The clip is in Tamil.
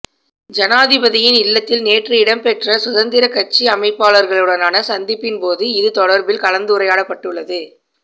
ஜனாதிபதியின் இல்லத்தில் நேற்று இடம்பெற்ற சுதந்திர கட்சி அமைப்பாளர்களுடனான சந்திப்பின் போது இது தொடர்பில் கலந்துரையாடப்படுள்ளது